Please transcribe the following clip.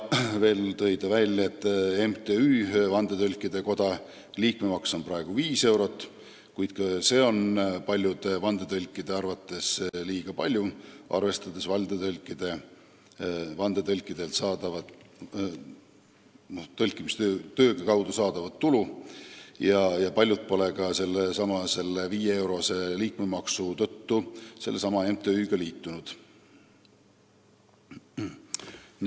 Veel tõi ta välja, et MTÜ Vandetõlkide Koda liikmemaks on praegu viis eurot, kuid ka see on paljude vandetõlkide arvates liiga suur, arvestades vandetõlkide töö eest saadavat tulu, ja paljud pole selle viieeurose liikmemaksu tõttu MTÜ-ga liitunud.